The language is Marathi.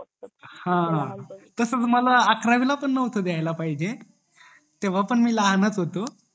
हा तसंच मला अकरावीला पण नव्हतं दयाला पाहिजे तेव्हा पण मी लहान च होतो